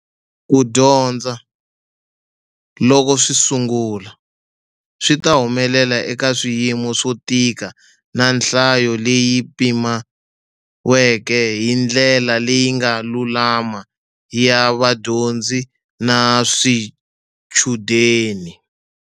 Ku dyondza, loko swi sungula, swi ta humelela eka swiyimo swo tika na nhlayo leyi pimiweke hi ndlela leyi nga lulama ya vadyondzi na swichudeni.